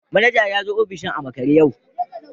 Manaja ya zo ofishin a makare yau